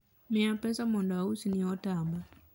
miya pesa mondo ausni otamba